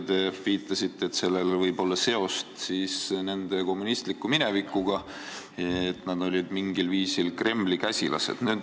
Te viitasite, et sellel võib olla seos nende kommunistliku minevikuga, et nad olid mingil viisil Kremli käsilased.